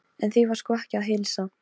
En því var sko ekki að heilsa.